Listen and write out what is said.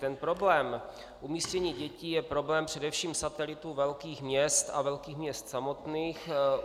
Ten problém umístění dětí je problém především satelitů velkých měst a velkých měst samotných.